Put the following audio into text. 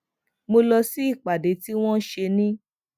mo lọ sí ìpàdé tí wón ṣe ní